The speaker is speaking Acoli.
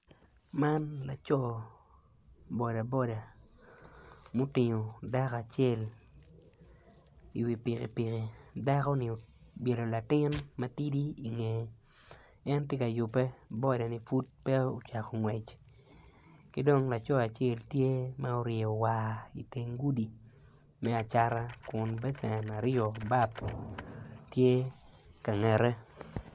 Man laco boda boda mitingo dako acel iwi pikipiki dakoni obyelo latin matidi ingeye en tye ka yubbe bodani pud pe ocako ngwec ki dong laco acel tye ma oryeyo war iteng gudi me acata Kun becen aryo bap tye kangete